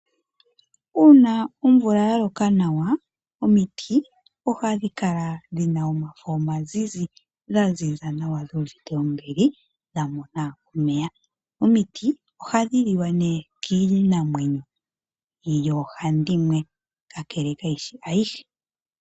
Uuna omvula ya loka nawa omiti oha dhikala dhina omafo omazizi dha ziza nawa dhuuvite ombili dhamona omeya. Omiti ohadhi liwa nee kiinamwenyo yoo handimwe kakele kayishi ayihe.